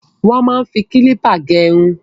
Wọ́n máa ń fi kílípà gẹ irun.